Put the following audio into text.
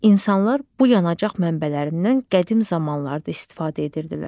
İnsanlar bu yanacaq mənbələrindən qədim zamanlarda istifadə edirdilər.